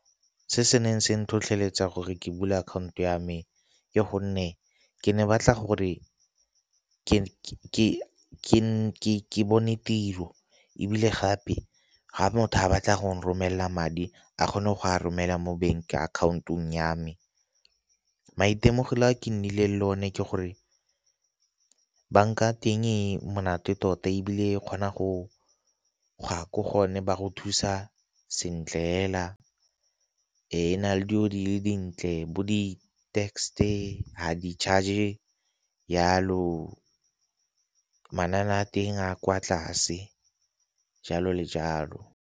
Se se neng sa ntlhotlheletsa gore ke bula akhaonto ya me ke gonne ke ne ke batla gore ke bone tiro ebile gape ga motho a batla go romela madi a kgone go a romela mo bank account-ong ya me. Maitemogelo a ke nnile le o ne ke gore banka ya teng e monate tota, ebile e kgona go gwa ko go yone go thusa sentle hela e na le dilo di le dintle bo di tax e ha di charge yalo a teng a kwa tlase jalo le jalo.